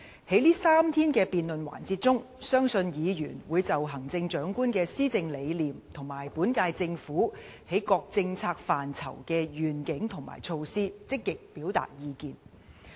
在這3天的辯論環節中，相信議員會就行政長官的施政理念和本屆政府在各政策範疇的遠景和措施，積極表達意見。